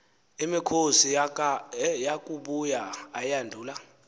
imikhosi yakubuya ayandula